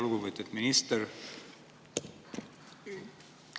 Lugupeetud minister!